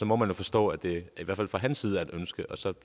må man jo forstå at det i hvert fald fra hans side er et ønske og så